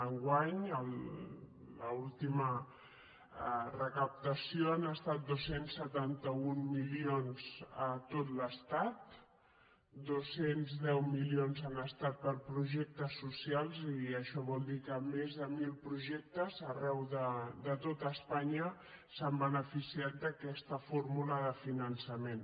enguany l’última recaptació han estat dos cents i setanta un milions a tot l’estat dos cents i deu milions han estat per a projectes so·cials i això vol dir que més de mil projectes arreu de tot espanya s’han beneficiat d’aquesta fórmula de fi·nançament